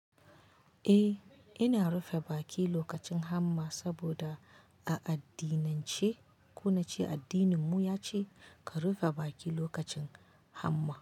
Eh, ina rufe baki lokacin hamma saboda a addinance, ko nace addininmu yace ka rufe baki lokacin hamma.